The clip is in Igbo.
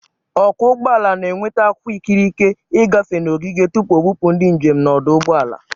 Ọkwọ ụgbọala na-enweta akwụkwọ ikikere i gafe n'ogige tupu o bụpụ ndị njem n'ọdụ ụgbọ ala.